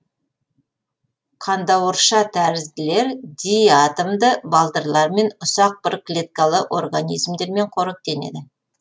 қандауыршатәрізділер диатомды балдырлармен ұсақ бір клеткалы организмдермен қоректенеді